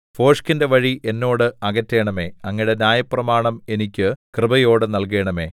ഭോഷ്കിന്റെ വഴി എന്നോട് അകറ്റണമേ അങ്ങയുടെ ന്യായപ്രമാണം എനിക്ക് കൃപയോടെ നല്കണമേ